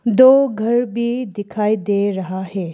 दो घर भी दिखाई दे रहा है।